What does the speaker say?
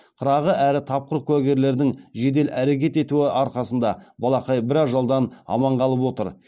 қырағы әрі тапқыр куәгерлердің жедел әрекет етуі арқасында балақай бір ажалдан аман қалып отыр